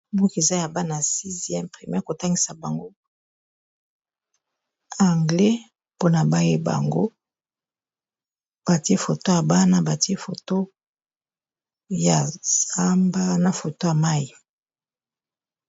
Mboke eza ya bana 6e primaire kotangisa bango anglais mpona baye bango batie foto ya bana batie foto ya samba na foto ya mai.